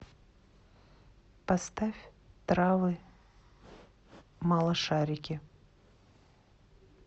поставь травы малышарики